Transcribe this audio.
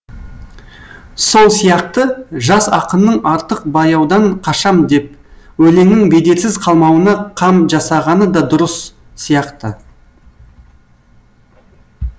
сол сияқты жас ақынның артық бояудан қашам деп өлеңнің бедерсіз қалмауына қам жасағаны да дұрыс сияқты